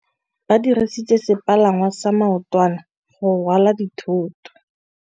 Ba dirisitse sepalangwasa maotwana go rwala dithôtô.